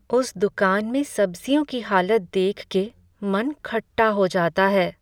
उस दुकान में सब्ज़ियों की हालत देख के मन खट्टा हो जाता है।